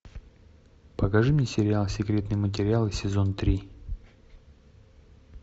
покажи мне сериал секретные материалы сезон три